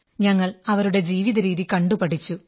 ഞങ്ങൾ അവരുടെ ജീവിതരീതി കണ്ടുപഠിച്ചു